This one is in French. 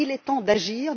Il est temps d'agir.